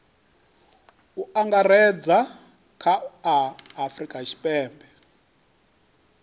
u angaredza kha a afurika